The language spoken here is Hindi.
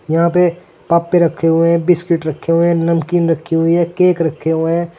यहां पे पापे रखे हुए हैं बिस्किट रखे हुए है नमकीन रखी हुई है केक रखे हुए।